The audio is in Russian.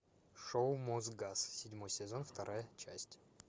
шоу мосгаз седьмой сезон вторая часть